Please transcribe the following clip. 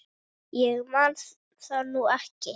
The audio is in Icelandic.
Ég man það nú ekki.